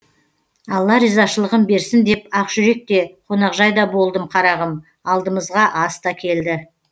алла ризашылығын берсін деп ақжүрек те қонақжайда болдым қарағым алдымызға ас та келді